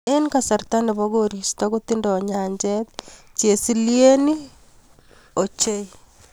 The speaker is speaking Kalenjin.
Eng kasarta ne bo koristo kotinye nyanjet chesilieny ne oo ochei.